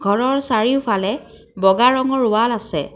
ঘৰৰ চাৰিওফালে বগা ৰঙৰ ৱাল আছে।